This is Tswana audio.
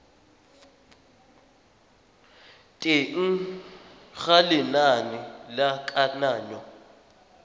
teng ga lenane la kananyo